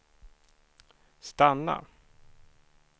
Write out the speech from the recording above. stanna